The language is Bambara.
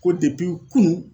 Ko kunun.